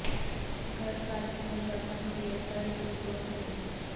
گھر کا سکون دفن کئیے گھر کی گود میں